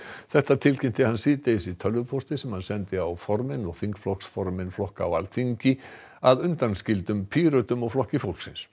þetta tilkynnti hann síðdegis í tölvupósti sem hann sendi á formenn og þingflokksformenn flokka á Alþingi að undanskildum Pírötum og Flokki fólksins